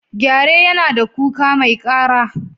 Gyare yana da kuka mai ƙara.